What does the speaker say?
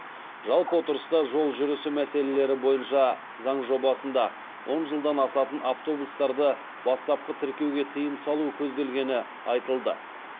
жалпы отырыста жол жүрісі мәселелері бойынша заң жобасында он жылдан асатын автобустарды бастапқы тіркеуге тыйым салу көзделгені айтылды